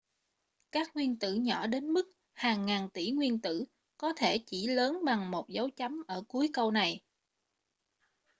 các nguyên tử nhỏ đến mức hàng ngàn tỷ nguyên tử có thể chỉ lớn bằng một dấu chấm ở cuối câu này